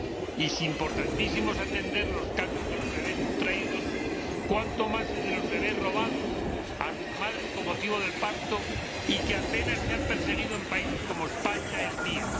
Y si importantísimo es atender los casos de los bebés sustraídos, cuánto más los de los bebes robados a sus madres tras el parto, que apenas se han perseguido en países como España, el mío.